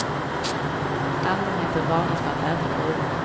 Allmänheten varnas för att äta druvorna.